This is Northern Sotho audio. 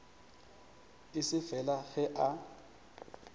e se fela ge a